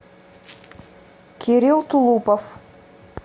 кирилл тулупов